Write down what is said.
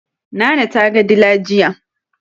Nana ta ga dila jiya